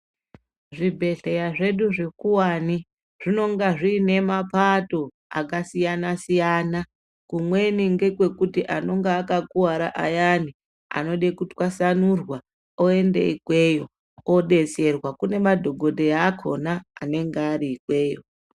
Zvibhedhleya zvedu zvikuwani, zvinonga zviine mapato akasiyana-siyana. Kumweni ngekwekuti anonga akakuwara ayani, anode kutwasanurwa ,oende ikweyo, odetsererwa. Kune madhokodheya akhona anenga ari ikweyo.